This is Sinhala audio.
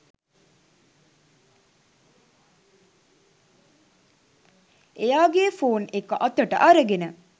එයාගේ ෆෝන් එක අතට අරගෙන